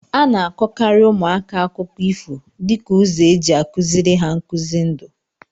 A na-akọkarị ụmụaka akụkọ ifo dịka ụzọ eji a kụziri ha nkuzi ndụ.